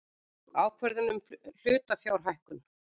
Ákvörðun um hlutafjárhækkun.